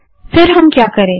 तब हम क्या करे